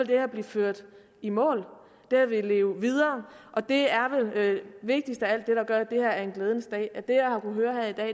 her blive ført i mål det her vil leve videre og det er vel vigtigst af alt det der gør at det her er en glædens dag